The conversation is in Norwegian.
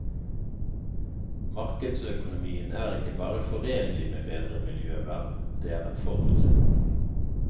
Markedsøkonomien er ikke bare forenlig med bedre miljøvern, det er en forutsetning.